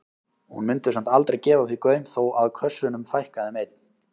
Hún mundi samt aldrei gefa því gaum þó að kössunum fækkaði um einn.